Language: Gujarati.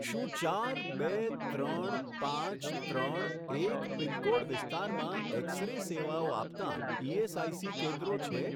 શું ચાર બે ત્રણ પાંચ ત્રણ એક પિનકોડ વિસ્તારમાં એક્સ રે સેવાઓ આપતાં ઇએસઆઇસી કેન્દ્રો છે?